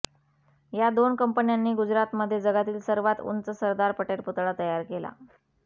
या दोन कंपन्यांनी गुजरातमध्ये जगातील सर्वात उंच सरदार पटेल पुतळा तयार केला